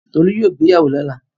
Tolu yóò gbéyàwó lọ́la.